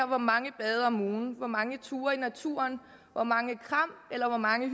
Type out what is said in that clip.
hvor mange bade om ugen hvor mange ture i naturen hvor mange kram eller hvor mange